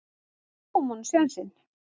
Við gáfum honum sénsinn.